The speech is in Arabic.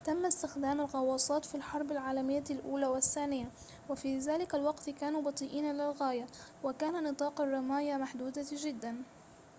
تمّ استخدام الغوّاصات في الحرب العالميّة الأولى والثّانية وفي ذلك الوقت كانوا بطيئين للغاية وكان نطاق الرّماية محدوداً جداً